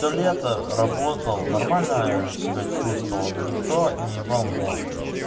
то лето работал нормально себя чувствовал никто не ебал мозг